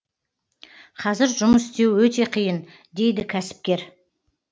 қазір жұмыс істеу өте қиын дейді кәсіпкер